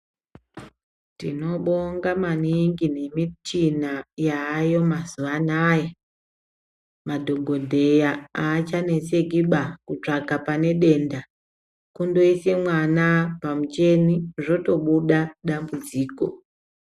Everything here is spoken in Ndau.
Tinobonga maningi ngemichina yaayo mazuwa anaya madhokodheya aachanesekiba kutsvaga pane denda kundoise mwana pamucheni zvotobuda dambudziko.